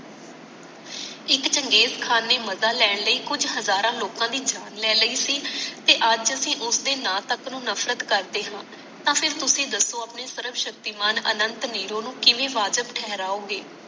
ਇਕ Genghis Khan ਨੇ ਮਜਾ ਲੈਣ ਲਈ ਕੁਛ ਹਜਾਰਾਂ ਲੋਕਾਂ ਦੀ ਜਾਨ ਲੈ ਲਈ ਸੀ ਤੇ ਅੱਜ ਅਸੀਂ ਉਸਦੇ ਨਾਮ ਤਕ ਨੂੰ ਨਫਰਤ ਕਰਦੇ ਹਾਂ ਤਾਂ ਫੇਰ ਤੁਸੀ ਦਸੋ ਆਪਣੇ ਸਰਵਸ਼ਕਤੀਮਾਨ ਅਨੰਤ ਨੀਰੋ ਨੂੰ ਕਿਵੇਂ ਵਾਜਿਬ ਠਹਰਾਯੋਗੇ